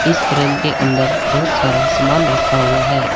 इस फ्रेम के अंदर बहुत सारा सामान रखा हुआ है।